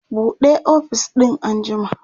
buɗe ofis din an jima!